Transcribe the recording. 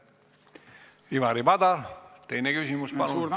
Ivari Padar, teine küsimus palun!